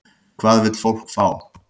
Hvað vill fólk fá?